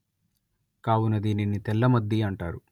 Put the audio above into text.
కావున దీనిని తెల్లమద్ది అంటారు